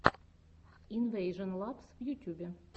инвэйжон лабс в ютьюбе